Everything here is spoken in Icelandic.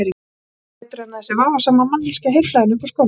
Ég sá ekki betur en að þessi vafasama manneskja heillaði hann upp úr skónum.